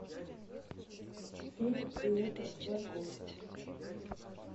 фильм лето волков